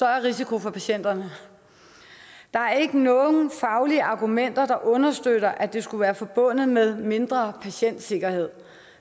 risiko for patienterne der er ikke nogen faglige argumenter der understøtter at det skulle være forbundet med mindre patientsikkerhed